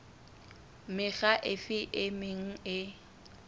mekga efe e meng e